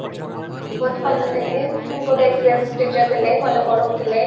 ବହୁତ ଭଲ ଥିଲେ ବହୁତ experience teacher ଥିଲେ ବହୁତ ଭଲ ପଢଉଥିଲେ